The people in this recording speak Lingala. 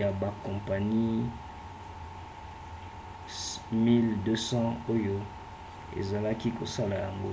ya bakompani 1200 oyo ezalaki kosala yango